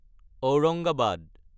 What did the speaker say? Aurangabad